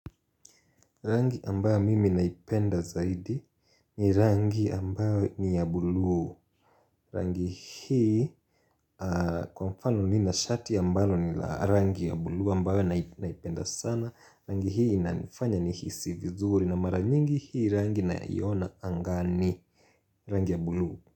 Rangi ambayo mimi naipenda zaidi ni rangi ambayo ni ya buluu Rangi hii kwa mfano nina shati ambalo ni rangi ya buluu ambayo naipenda sana Rangi hii inanifanya nihisi vizuri na mara nyingi hii rangi naiona angani Rangi ya buluu.